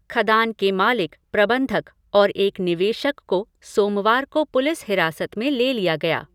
खदान के मालिक, प्रबंधक और एक निवेशक को सोमवार को पुलिस हिरासत में ले लिया गया।